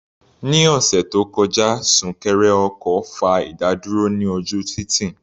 Ní ọ̀sẹ̀ tó kọjá, súnkẹrẹ ọkọ̀ fa ìdádúró ní ojú títì.